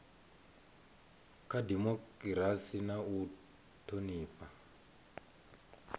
kha dimokirasi na u thonifha